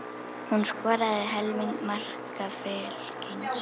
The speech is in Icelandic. Hún skoraði helming marka Fylkis.